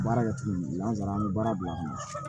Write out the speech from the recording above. Baara kɛ cogo min na n'an taara an bɛ baara bila ka na